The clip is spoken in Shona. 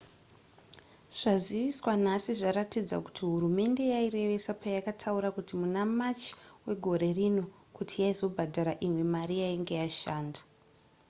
zvaziviswa nhasi zvaratidza kuti hurumende yairevesa payakataura muna march wegore rino kuti yaizobhadhara imwe mari yainge yashanda